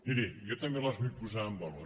miri jo també les vull posar en valor